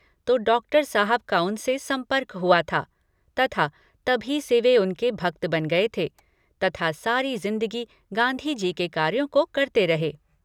तो डॉक्टर साहब का उनसे सम्पर्क हुआ था तथा तभी से वे उनके भक्त बन गए थे तथा सारी जिंदगी गांधी जी के कार्यों को करते रहे।